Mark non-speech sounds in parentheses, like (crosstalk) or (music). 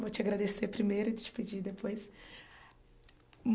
Vou te agradecer primeiro e te pedir depois. (unintelligible)